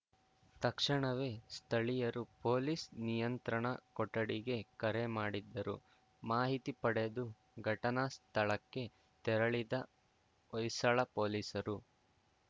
ತಕ್ಷಣವೇ ಸ್ಥಳೀಯರು ಪೊಲೀಸ್‌ ನಿಯಂತ್ರಣ ಕೊಠಡಿಗೆ ಕರೆ ಮಾಡಿದ್ದರು ಮಾಹಿತಿ ಪಡೆದು ಘಟನಾ ಸ್ಥಳಕ್ಕೆ ತೆರಳಿದ ಹೊಯ್ಸಳ ಪೊಲೀಸರು